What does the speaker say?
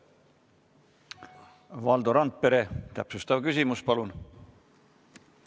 Valdo Randpere, täpsustav küsimus, palun!